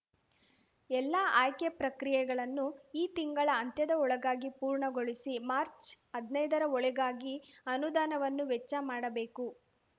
ಎಲ್ಲಾ ಆಯ್ಕೆ ಪ್ರಕ್ರಿಯೆಗಳನ್ನು ಈ ತಿಂಗಳ ಅಂತ್ಯದ ಒಳಗಾಗಿ ಪೂರ್ಣಗೊಳಿಸಿ ಮಾರ್ಚ್ ಹದ್ನೈದರ ಒಳಗಾಗಿ ಅನುದಾನವನ್ನು ವೆಚ್ಚ ಮಾಡಬೇಕು